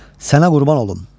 Sənə qurban olum.